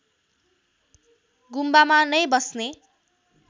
गुम्बामा नै बस्ने